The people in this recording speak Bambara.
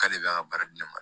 K'ale b'a ka baara di ne ma